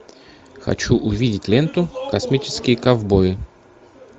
хочу увидеть ленту космические ковбои